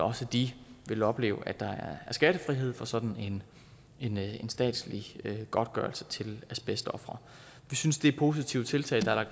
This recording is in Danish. også de vil opleve at der er skattefrihed for sådan en statslig godtgørelse til asbestofre vi synes det er positive tiltag der er